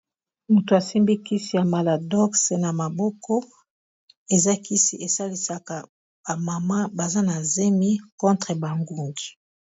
Moto asimbi kisi ya Maladox na maboko, eza kisi esalisaka ba mama baza na zemi contre ba ngungi.